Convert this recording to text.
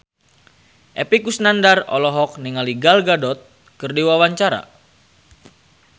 Epy Kusnandar olohok ningali Gal Gadot keur diwawancara